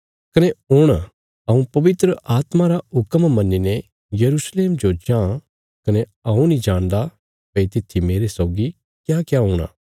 कने हुण हऊँ पवित्र आत्मा रा हुक्म मन्नीने यरूशलेम जो जां कने हऊँ नीं जाणदा भई तित्थी मेरे सौगी क्याक्या हुंणा